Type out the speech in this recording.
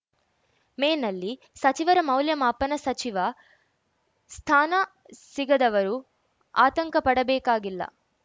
ಮೇನಲ್ಲಿ ಸಚಿವರ ಮೌಲ್ಯಮಾಪನ ಸಚಿವ ಸ್ಥಾನ ಸಿಗದವರು ಆತಂಕ ಪಡಬೇಕಾಗಿಲ್ಲ